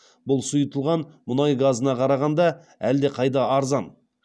бұл сұйытылған мұнай газына қарағанда әлдеқайда арзан